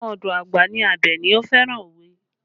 Ọmọ ọdọ àgbà ní Abeni, ó fẹ́ràn òwe